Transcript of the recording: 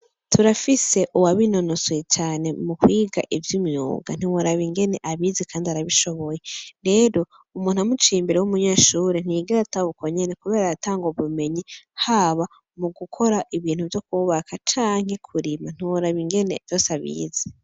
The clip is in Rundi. Turafise uwabinonosoye cane mu kwiga ivy'imyuga, ntiworaba ingene abizi kandi arabishoboye. Rero umuntu amuciye imbere w'umunyeshure ntiyigera ataha uko nyene kubera aratanga ubumenyi, haba mu gukora ibintu vyo kwubaka canke kurima. Ntiworaba ingene vyose abizi.